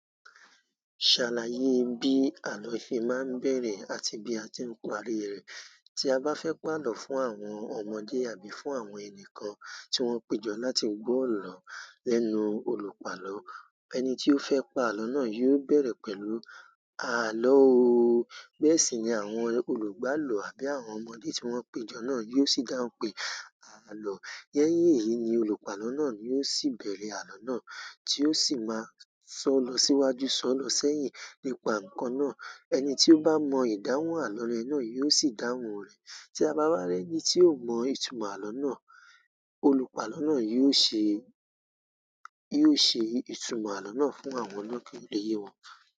Ṣàlàyé bí àlọ́ ṣe máa ń bẹ̀rẹ̀ àti bí a tí ń parí rẹ̀ tí a bá fẹ́ pa àlọ́ fún àwọn ọmọdé àbí fún àwọn ẹnìkan tí wọ́n péjọ láti gbọ àlọ́ lẹ́nu olùpàlọ́. Ẹni ti o fẹ palọ náà yóò bẹrẹ pẹ̀lú "Àlọ ooo". Bẹ́ẹ̀ sì ni àwọn olùgbàlọ̀ àbí àwọn ọmọdé tí wọ́n péjọ náà yóò sì dáhùn pé "àlọ́". Lẹ́yìn èyí ni olùpàlọ́ náà yóò sì bẹ̀rẹ̀ àlọ́ náà tí ó sì máa sọ̀ọ́ lọ síwájú, sọ̀ọ́ lọ sẹ́yìn nípa ǹkan náà. Ẹni tí ó bá mọ ìdáhùn àlọ́ rẹ náà yóò sì dáhùn rẹ̀. Tí a bá rí ẹni tí ò mọ ìtumọ̀ àlọ́ náà, olùpàlọ́ náà yóò ṣe, yóò ṣe ìtumọ̀ àlọ́ náà fún àwọn náà ki o le yèwọ̀n.